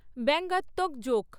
ব্যঙ্গাত্মক joke